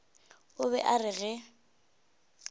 o be a re ge